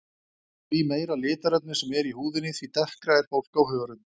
Því meira litarefni sem er í húðinni því dekkra er fólk á hörund.